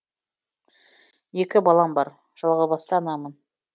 екі балам бар жалғызбасты анамын